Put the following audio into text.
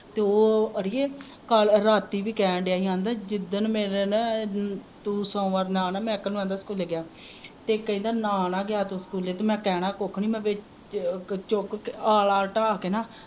ਤੇ ਉਹ ਅੜੀਏ ਕਲ ਰਾਤੀ ਵੀ ਕਹਿਣ ਦੀਆ ਹੀ ਆਂਦਾ ਜਿਦਣ ਮੇਰੇ ਨਾ ਤੂੰ ਸੋਮਵਾਰ ਨਾ ਮਹਿਕ ਨੂੰ ਆਂਦਾ ਸਕੂਲੇ ਆਂਦਾ ਗਿਆ ਤੇ ਕਹਿੰਦਾ ਨਾ ਨਾ ਗਿਆ ਸਕੂਲੇ ਤਾ ਮੈਂ ਕਹਿਣਾ ਕੁੱਖ ਨਹੀਂ ਵਿਚ ਚੁੱਕ ਕੇ ਆਲ਼ਾ ਢਾ ਕੇ ਨਾ